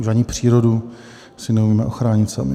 Už ani přírodu si neumíme ochránit sami.